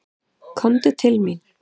Komdu til mín.